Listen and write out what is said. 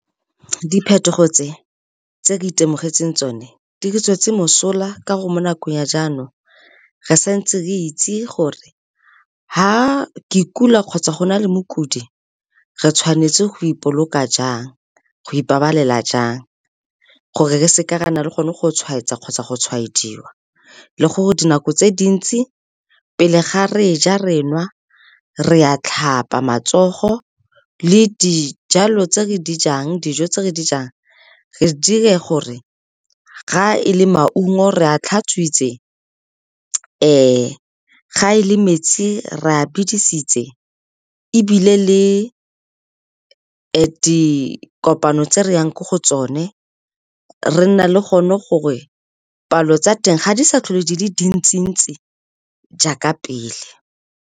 Diphetogo tse, tse ke itemogetse tsone di re tswetse mosola ka gore mo nakong ya jaanong re santse re itse gore ga ke kula kgotsa go na le mokudi re tshwanetse go ipabalela jang gore re seke re nna le gone go tshwaetsa kgotsa go tshwaediwa, le gore dinako tse dintsi pele ga re ja, re nwa, re a tlhapa matsogo le dijo tse re di jang re dire gore ga e le maungo re a tlhatswitswe, ga e le metsi re a bidisitse, ebile le dikopano tse re yang ko go tsone re nna le gone gore palo tsa teng ga di sa tlhole di le dintsi-ntsi jaaka pele.